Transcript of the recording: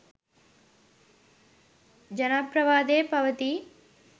ජනප්‍රවාදයේ පවතී